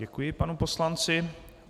Děkuji panu poslanci.